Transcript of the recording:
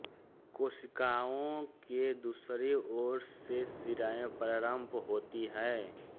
केशिकाओं के दूसरी ओर से शिराएँ प्रारंभ होती हैं